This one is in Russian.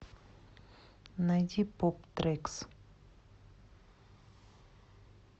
найди поп трэкс